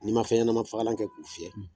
N' i maa fnɲɛnama fakalan kɛ k'u fiɲɛ